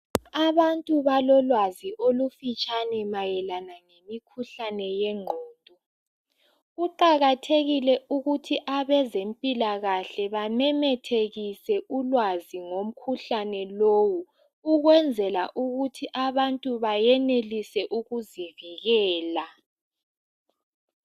Abantu balolwazi olufitshane mayelana ngemikhuhlane yengqondo. Kuqakathekile ukuthi abezempilakahle bamemethekise ulwazi ngomkhuhlane lowu, ukwenzela ukuthi abantu bayenelise ukuzivikela.